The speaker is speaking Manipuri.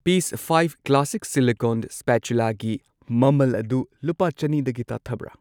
ꯄꯤꯁ ꯐꯥꯢꯚ ꯀ꯭ꯂꯥꯁꯤꯛ ꯁꯤꯂꯤꯀꯣꯟ ꯁ꯭ꯄꯥꯆꯨꯂꯥꯒꯤ ꯃꯃꯜ ꯑꯗꯨ ꯂꯨꯄꯥ ꯆꯅꯤꯗꯒꯤ ꯇꯥꯊꯕ꯭ꯔꯥ?